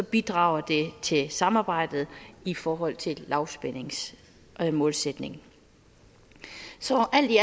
bidrager det til samarbejdet i forhold til lavspændingsmålsætningen så alt i